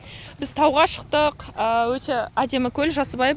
біз тауға шықтық өте әдемі көл жасыбай